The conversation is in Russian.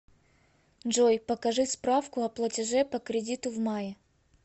джой покажи справку о платеже по кредиту в мае